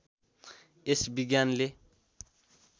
यस विज्ञानले